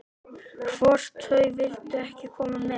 Hvort þau vildu ekki koma með?